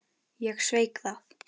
Ég sveik það.